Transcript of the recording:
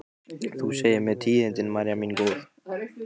Þú segir mér tíðindin, María mín góð.